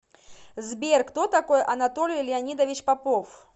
сбер кто такой анатолий леонидович попов